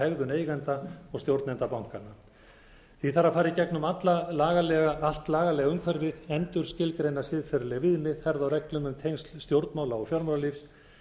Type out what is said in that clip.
hegðun eigenda og stjórnenda bankanna því þarf að fara í gegnum allt lagalega umhverfið endurskilgreina siðferðileg viðmið herða á reglum um tengsl stjórnmála og fjármálalífs